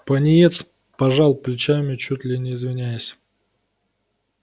пониетс пожал плечами чуть ли не извиняясь